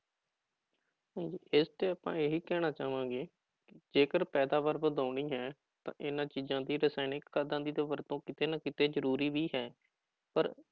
ਹਾਂਜੀ ਇਸਤੇ ਆਪਾਂ ਇਹੀ ਕਹਿਣਾ ਚਾਹਾਂਗੇ ਕਿ ਜੇਕਰ ਪੈਦਾਵਾਰ ਵਧਾਉਣੀ ਹੈ ਤਾਂ ਇਹਨਾਂ ਚੀਜ਼ਾਂ ਦੀ ਰਸਾਇਣਿਕ ਖਾਦਾਂ ਦੀ ਤਾਂ ਵਰਤੋਂ ਕਿਤੇ ਨਾ ਕਿਤੇ ਜ਼ਰੂਰੀ ਵੀ ਹੈ ਪਰ